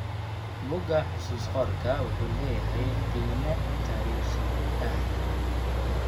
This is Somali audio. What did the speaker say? Buugga xusuus-qorka wuxuu leeyahay qiime taariikhi ah.